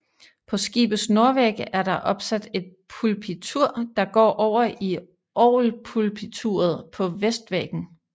På skibets nordvæg er der opsat et pulpitur der går over i orgelpulpituret på vestvæggen